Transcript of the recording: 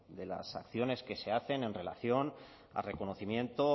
de las acciones que se hacen en relación al reconocimiento